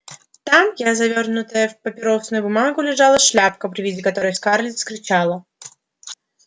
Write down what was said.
там я завёрнутая в папиросную бумагу лежала шляпка при виде которой скарлетт вскричала